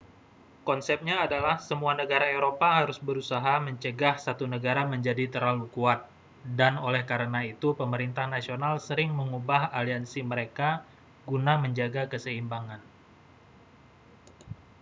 konsepnya adalah semua negara eropa harus berusaha mencegah satu negara menjadi terlalu kuat dan oleh karena itu pemerintah nasional sering mengubah aliansi mereka guna menjaga keseimbangan